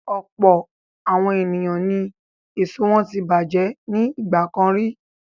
Ọ̀pọ̀ àwọn ènìyàn ni èso wọn tí bàjẹ́ ní ìgbà kan rí.